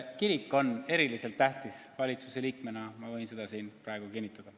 Kirik on eriliselt tähtis, valitsuse liikmena ma võin seda siin praegu kinnitada.